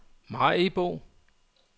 Maribo